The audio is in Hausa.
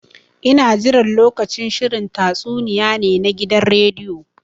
Ina jiran lokacin shirin tatsuniya ne na gidan rediyo.